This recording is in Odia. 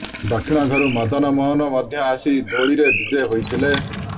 ଦକ୍ଷିଣ ଘରୁ ମଦନମୋହନ ମଧ୍ୟ ଆସି ଦୋଳିରେ ବିଜେ ହୋଇଥିଲେ